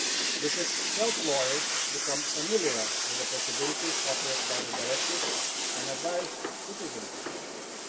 We should help lawyers become familiar with the possibilities offered by the directive and advise citizens accordingly.